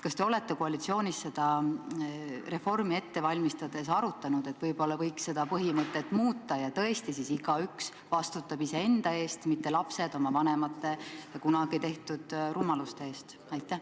Kas te olete koalitsioonis seda reformi ette valmistades arutanud, et võib-olla võiks seda põhimõtet muuta ja tõesti igaüks vastutab iseenda eest, mitte lapsed on vanemate kunagi tehtud rumaluste eest?